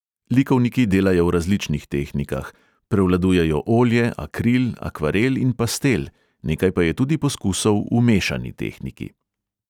Likovniki delajo v različnih tehnikah, prevladujejo olje, akril, akvarel in pastel, nekaj pa je tudi poskusov v mešani tehniki.